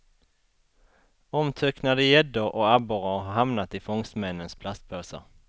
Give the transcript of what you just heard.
Omtöcknade gäddor och abborrar har hamnat i fångstmännens plastpåsar.